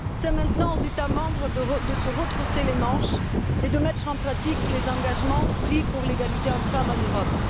C'est maintenant aux États membres de se retrousser les manches et de mettre en pratique les engagements pris pour l'égalité hommes femmes en Europe.